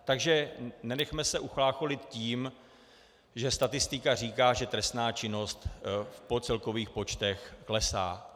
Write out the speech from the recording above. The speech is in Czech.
Takže nenechme se uchlácholit tím, že statistika říká, že trestná činnost v celkových počtech klesá.